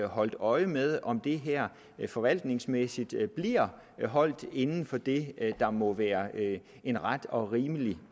holdt øje med om det her forvaltningsmæssigt bliver holdt inden for det der må være en ret og rimelig